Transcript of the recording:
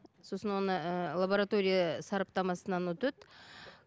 сосын оны лаборатория сараптамасынан өтеді